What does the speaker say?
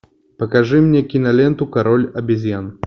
покажи мне киноленту король обезьян